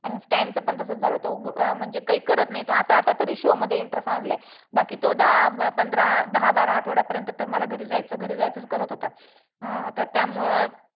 आणि stan च पण तसंच झालं तो म्हणजे काही करत नाही तो आता आता तरी show मध्ये interest आणलाय. बाकी तो दहा पंधरा दहा बारा आठवड्यापर्यंत तर मला घरी जायचं घरी जायचंच करत होता अं तर त्यामुळं